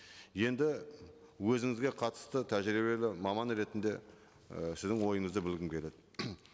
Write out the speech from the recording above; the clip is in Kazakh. енді өзіңізге қатысты тәжірибелі маман ретінде і сіздің ойыңызды білгім келеді